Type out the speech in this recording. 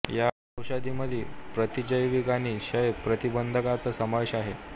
या औषधामध्ये प्रतिजैविके आणि क्षय प्रतिबंधकांचा समावेश आहे